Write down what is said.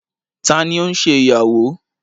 Tani o nse iyawo?